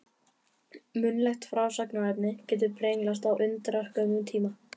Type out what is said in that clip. Munnlegt frásagnarefni getur brenglast á undraskömmum tíma.